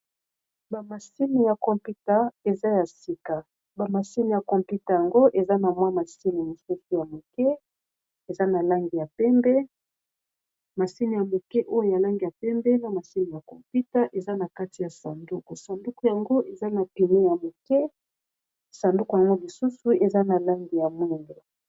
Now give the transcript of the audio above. Bamasini ya computa eza ya sika, bamasini ya computa yango eza na mwa masini mosusu ya moke eza na langi ya pembe masini ya moke oyo yalangi ya pembe na masini ya computa eza na kati ya sanduku. Sanduku yango eza na pimo ya moke sanduku yango lisusu eza na langi ya mwindo.